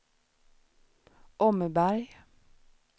Åmmeberg